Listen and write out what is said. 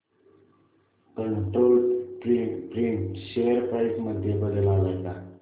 control Print share price मध्ये बदल आलाय का